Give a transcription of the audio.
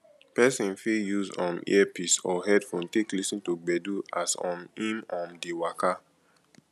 person fit use um earpice or headphone take lis ten to gbedu as um im um dey waka